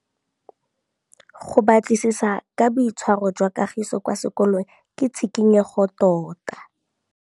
Go batlisisa ka boitshwaro jwa Kagiso kwa sekolong ke tshikinyêgô tota.